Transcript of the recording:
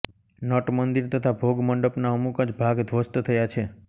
nut મંદિર તથા ભોગ મંડપ ના અમુક જ ભાગ ધ્વસ્ત થયાં છે